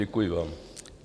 Děkuji vám.